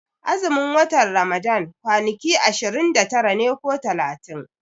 Azumin watan Ramadan kwani ki ashirin da tara ne ko talatin